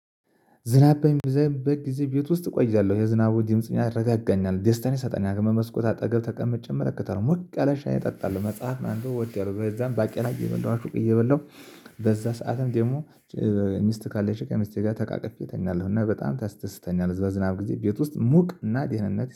ዝናብ በሚዘንብበት ጊዜ ቤት ውስጥ እቆያለሁ የዝናቡ ግምጽ ያረጋገኛል ደስታን ይሰጠኛል። በመስኮት አጠገብ ተቀምጬ እመለከታለው ሞቅ ያለ ሻይ እጠጣለሁ። መጽሐፍ ማንበብ ወዳለው በዛም ባቄላ እየበላሁ እየበላሁ። በዛ ሰዓትም ደግሞ ሚስት ካለች ቀን ከሚስቴ ጋር ተቃቅፌ እተኛለሁ። እና በጣም ታስደስተኛለች። በዝናብ ጊዜ ቤት ውስጥ ሙቅ እናት ደህንነት